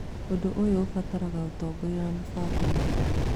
Ũndũ ũyũ ũbataraga ũtongoria na mĩbango mĩega.